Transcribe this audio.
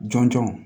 Jɔn jɔn